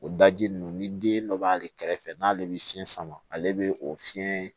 O daji ninnu ni den dɔ b'ale kɛrɛfɛ n'ale bɛ fiɲɛ sama ale bɛ o fiɲɛ